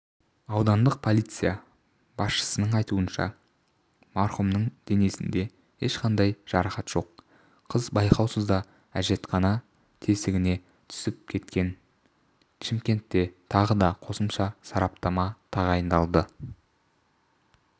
аудандық полиция басшысының айтуынша марқұмның денесінде ешқандай жарақат жоқ қыз байқаусызда әжетхана тесігіне түсіп кеткен шымкентте тағы да қосымша сараптама тағайындалды